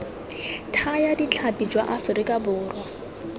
thaya ditlhapi jwa aforika borwa